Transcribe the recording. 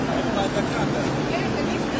Hə, bax, dəqiqdir.